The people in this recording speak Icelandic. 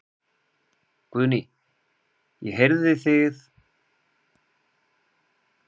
Guðný: Ég heyrði þið hérna áðan biðja þjónana um að skrúfa aðeins niður í hávaðanum?